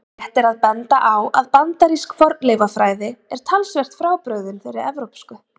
Rétt er að benda á að bandarísk fornleifafræði er talsvert frábrugðin þeirri evrópsku.